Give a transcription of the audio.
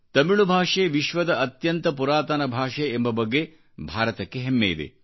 ತಮಿಳು ಭಾಷೆ ವಿಶ್ವದ ಅತ್ಯಂತಪುರಾತನ ಭಾಷೆ ಎಂಬ ಬಗ್ಗೆ ಭಾರತಕ್ಕೆ ಹೆಮ್ಮೆಯಿದೆ